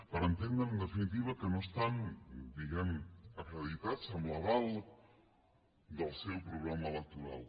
per entendre en definitiva que no estan diguem ne acreditats amb l’aval del seu programa electoral